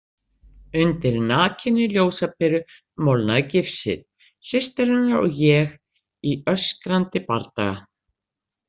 Undir nakinni ljósaperu molnaði gifsið, systir hennar og ég í öskrandi bardaga.